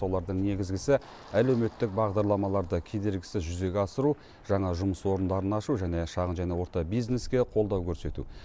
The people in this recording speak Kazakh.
солардың негізгісі әлеуметтік бағдарламаларды кедергісіз жүзеге асыру жаңа жұмыс орындарын ашу және шағын және орта бизнеске қолдау көрсету